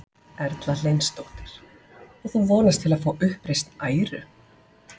Erla Hlynsdóttir: Og þú vonast til að fá uppreisn æru?